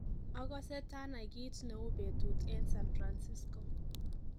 ogose tanai kit nei betut en san francisco